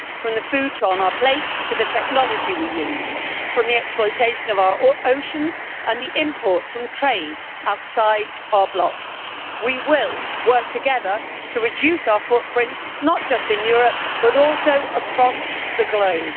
From the food on our plate to the technology we use, from the exploitation of our oceans and the imports from trade outside our block, we will work together to reduce our footprint, not just in Europe but also across the globe.